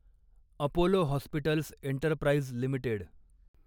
Apollo Hospitals Enterprise limited